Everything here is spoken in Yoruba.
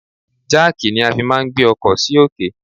Jáàkì ni a fi máà ń gbé ọkọ sì òkè.